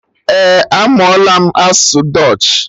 Eh, amụọla m asụsụ dutch